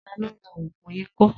Ta ló ra ògùn ikọ́?